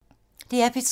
DR P3